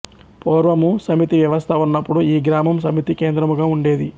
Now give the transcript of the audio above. పూర్వము సమితి వ్యవస్థ ఉన్నప్పుడు ఈ గ్రామం సమితి కేంద్రముగా ఉండేది